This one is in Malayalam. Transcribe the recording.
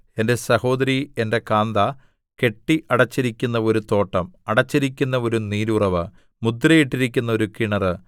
എന്റെ സഹോദരി എന്റെ കാന്ത കെട്ടി അടച്ചിരിക്കുന്ന ഒരു തോട്ടം അടച്ചിരിക്കുന്ന ഒരു നീരുറവ് മുദ്രയിട്ടിരിക്കുന്ന ഒരു കിണറ്